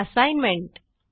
assignment